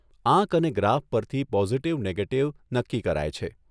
આંક અને ગ્રાફ પરથી પોઝિટિવ, નેગેટીવ નક્કી કરાય છે.